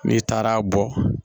N'i taara bɔ